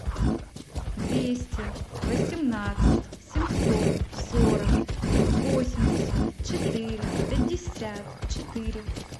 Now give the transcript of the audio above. двести восемнадцать семьсот сорок восемьдесят четыре пятьдесят четыре